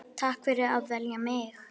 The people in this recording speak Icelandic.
Takk fyrir að velja mig.